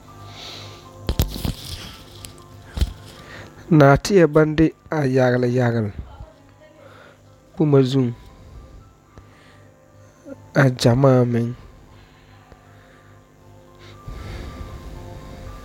Naateɛ baŋ de a yagli yagli boma zuŋ a gyamaa meŋ.